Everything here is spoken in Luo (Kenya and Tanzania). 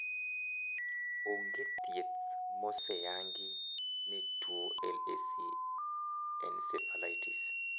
Onge thieth maoseyangi ne tuo LAC encephalitis.